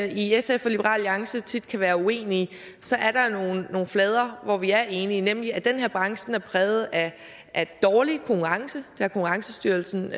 i sf og liberal alliance tit kan være uenige så er der nogle flader hvor vi er enige nemlig at den her branche er præget af dårlig konkurrence det har konkurrencestyrelsen